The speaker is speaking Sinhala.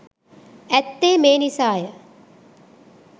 ඇත්තේ මේ නිසාය.